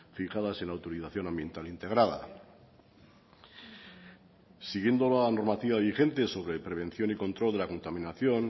fijadas en la autorización ambiental integrada siguiendo la normativa vigente sobre prevención y control de la contaminación